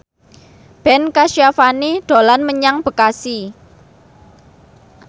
Ben Kasyafani dolan menyang Bekasi